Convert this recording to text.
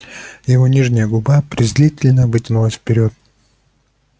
его нижняя губа презрительно вытянулась вперёд